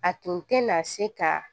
A tun tɛna se ka